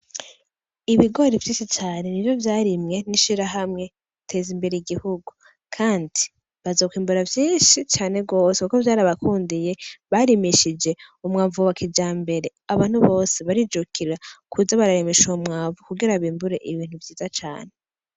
Ibigori vyinshi cane nivyo vyarimwe n'ishirahamwe Teza imbere i gihugu kandi bazokwimbura vyinshi kuko vyarabakundiye. Barimishije umwavu wa kijambere, abantu bose barijukira kuza bararimisha uwo mwavu kugira bimbure ibintu vyiza cane.